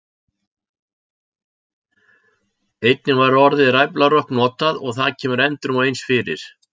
Einnig var orðið ræflarokk notað og það kemur endrum og eins fyrir.